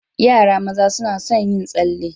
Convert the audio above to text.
Yara maza suna sun yin tsalle.